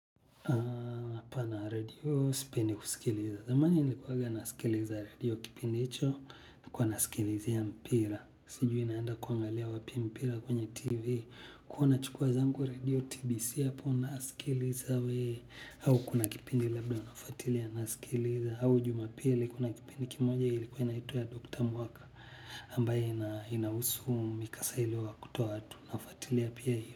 Hapana redio, sipendi kusikiliza. Zamani nilikuwaga nasikiliza redio kipindi hicho nilikuwa nasikilizia mpira. Sijui naenda kuangalia wapi mpira kwenye TV. Kuwa nachukua zangu redio TBC hapo nasikiliza we. Au kuna kipindi labda unafatilia nasikiliza. Au jumapili kuna kipindi kimoja ilikuwa inaitwa ya Dr. Mwaka. Ambaye inahusu mikasa iliowakuta watu. Nafatilia pia hiyo.